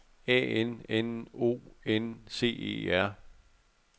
A N N O N C E R